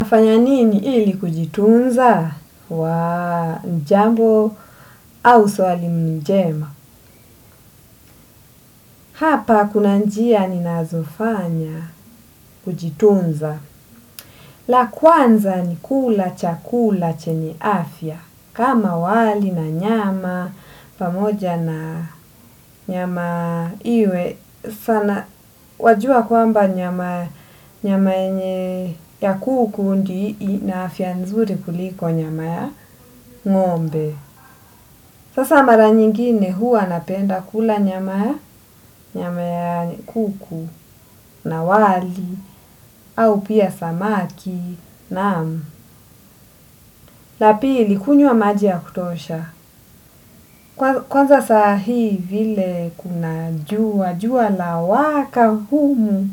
Nafanya nini ili kujitunza? Jambo au swali njema. Hapa kuna njia ninazofanya kujitunza. La kwanza ni kula chakula chenye afya. Kama wali na nyama pamoja na nyama iwe sana wajuwa kwamba nyama yenye ya kuku ndi ina afya nzuri kuliko nyama ya ngo'mbe. Sasa mara nyingine huwa napenda kula nyama ya kuku, na wali, au pia samaki, naam. La pili kunywa maji ya kutosha. Kwanza saa hii vile kuna juwa, juwa la waka humu.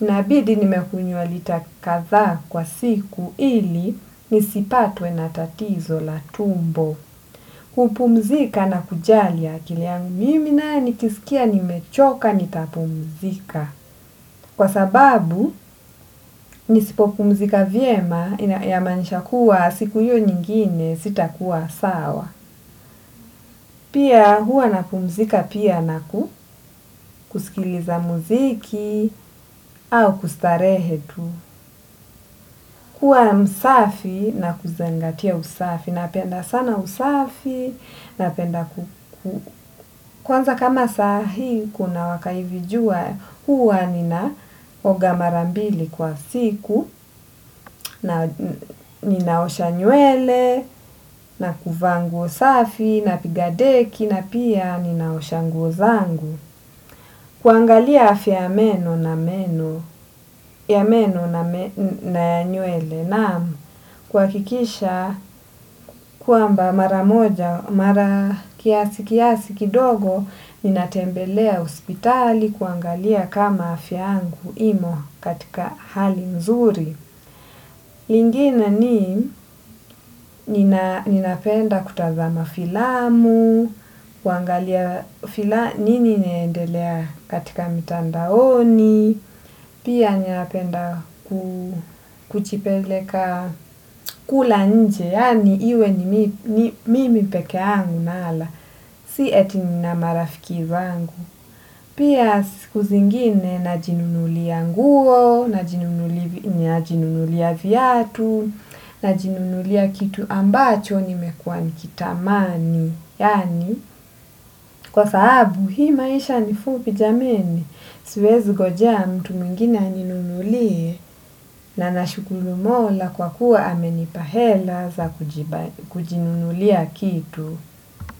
Inabidi nime kunywa lita kadhaa kwa siku ili nisipatwe na tatizo la tumbo. Kupumzika na kujali akili yangu. Mimi naye nikisikia nimechoka nitapumzika. Kwa sababu nisipopumzika vyema ya maanisha kuwa siku hiyo nyingine sita kuwa sawa. Pia huwa napumzika pia na kusikiliza muziki au kustarehe tu. Kuwa msafi na kuzingatia usafi. Napenda sana usafi napenda ku, ku. Kwanza kama saa hii kuna waka hivi juwa huwa ninaoga mara mbili kwa siku na ninaosha nywele na kuvaa nguo safi napiga deki na pia ninaosha nguo zangu. Kuangalia afya ya meno na meno, na ya nywele naam kuwakikisha kwamba mara moja, mara kiasi kiasi kidogo ninatembelea hospitali kuangalia kama afya yangu imo katika hali nzuri. Lingine ni ninapenda kutazama filamu, kuangalia fila, nini inaendelea katika mitandaoni, pia ninapenda kujipeleka kula nje, yani iwe ni mimi peke yangu nala, si eti nina marafiki zangu. Pia siku zingine na jinunulia nguo, na jinunulia viatu, na jinunulia kitu ambacho ni mekuwa nikitamani. Yani, kwa sahabu hii maisha ni fupi jameni, siwezi ngojea mtu mwngine aninunulie na nashukuru mola kwa kuwa amenipa hela za kujinunulia kitu.